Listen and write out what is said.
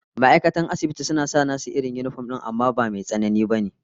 Ma'aikatan asibiti suna sa irin nasu yinifom din amma ba Mai tsanani ba ne